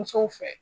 Musow fɛ